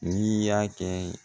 N'i y'a kɛ